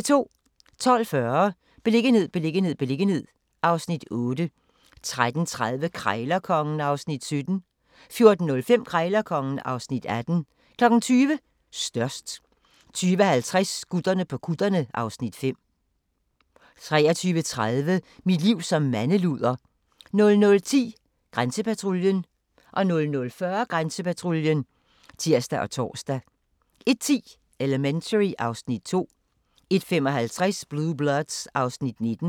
12:40: Beliggenhed, beliggenhed, beliggenhed (Afs. 8) 13:30: Krejlerkongen (Afs. 17) 14:05: Krejlerkongen (Afs. 18) 20:00: Størst 20:50: Gutterne på kutterne (Afs. 5) 23:30: Mit liv som mandeluder 00:10: Grænsepatruljen 00:40: Grænsepatruljen (tir og tor) 01:10: Elementary (Afs. 2) 01:55: Blue Bloods (Afs. 19)